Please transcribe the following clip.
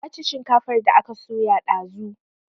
Na ci shinkafar da aka soya dazu